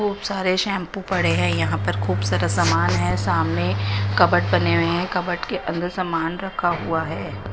खूब सारे शैंपू पड़े हैं यहां पर खूब सारा सामान है सामने कपबोर्ड बने हुए हैं कपबोर्ड के अंदर सामान रखा हुआ है।